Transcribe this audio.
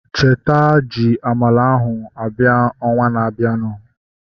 Cheta ji amala ahu abịa ọnwa na-abianu